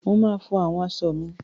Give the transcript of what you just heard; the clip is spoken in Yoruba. Mo máa fọ àwọn aṣọ mi.